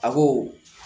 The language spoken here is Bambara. A ko